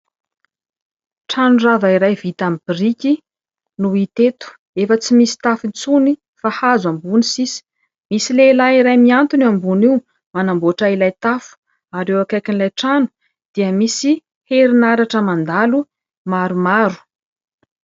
Trano rava iray vita aminy biriky no hita eto, efa tsy misy tafo intsony fa hazo ambony sisa, misy lehilahy iray mihantona eo ambony io manamboatra ilay tafo ary eo akaikin'ilay trano dia misy herinaratra mandalo maromaro.